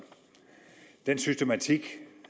den systematik